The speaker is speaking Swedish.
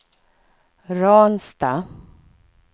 Ransta